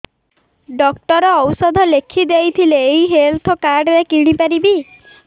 doctor ଔଷଧ ଲେଖିଦେଇଥିଲେ ଏଇ ହେଲ୍ଥ କାର୍ଡ ରେ କିଣିପାରିବି